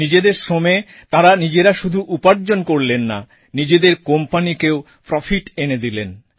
নিজেদের শ্রমে তাঁরা নিজেরা শুধু উপার্জন করলেন না নিজেদের কোম্পানিকেও প্রফিট এনে দিলেন